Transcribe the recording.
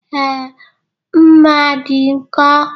Ee, mma dị nkọ.